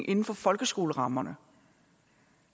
inden for folkeskolerammerne